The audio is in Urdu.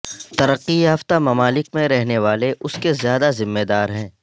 ترقی یافتہ ممالک میں رہنے والے اس کے زیادہ ذمہ دار ہیں